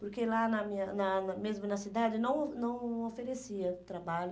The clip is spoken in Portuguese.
Porque lá, na minha na na mesmo na cidade, não não oferecia trabalho.